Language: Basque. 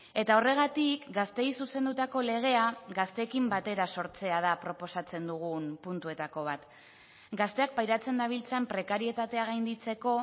eta horregatik gazteei zuzendutako legea gazteekin batera sortzea da proposatzen dugun puntuetako bat gazteak pairatzen dabiltzan prekarietatea gainditzeko